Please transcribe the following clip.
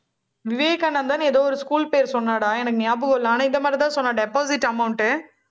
விவேகானந்தான்னு ஏதோ ஒரு school பேர் சொன்னாடா, எனக்கு ஞாபகம் இல்லை. ஆனா, இந்த மாதிரிதான் சொன்னா deposit amount